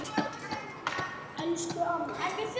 Elsku Amma Jóna.